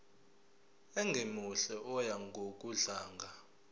ongemuhle oya ngokudlanga